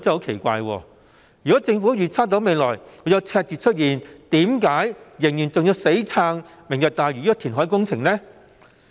奇怪的是，如果政府預測未來會出現赤字，為何仍然要死撐"明日大嶼"這個填海工程？